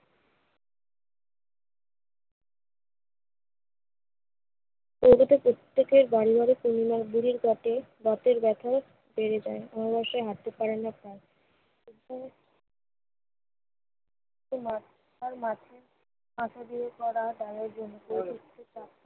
কলকাতার প্রত্যেকের কাটে। বাতের ব্যথাও সেরে যায়। অমাবস্যায় হাঁটতে পারেন না তারা। আসা-যাওয়া করা